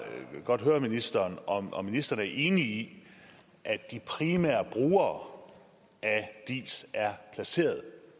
godt høre ministeren om ministeren er enig i at de primære brugere af diis er placeret